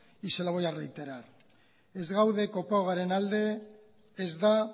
y se lo voy a reiterar ez gaude kopagoaren alde ez da